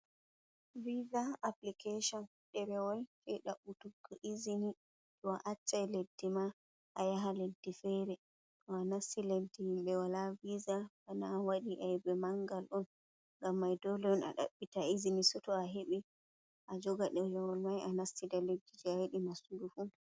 Viza application derewol je dabbutuggo izini to a acca leddi ma a yaha leddi fere to a nasti leddi himbe wala viza bana wadi aibe manga on ngam mai dole on a dabbita izini soto a hebi a joga derewol mai a nasti da leddi je a yidi nastugo fu.